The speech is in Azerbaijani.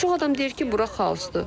Çox adam deyir ki, bura xaosdur.